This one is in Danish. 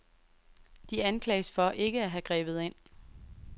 De anklages for ikke at have grebet ind.